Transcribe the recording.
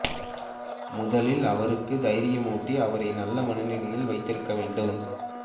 முதலில் அவருக்கு தைாியமூட்டி அவரை நல்ல மனநிலையில் வைத்திருக்க வேண்டும்